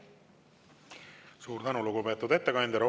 Suur tänu, lugupeetud ettekandja!